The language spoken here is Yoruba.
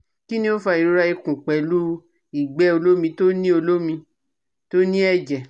Kini o fa irora ikun pelu igbe olomi to ni olomi to ni eje?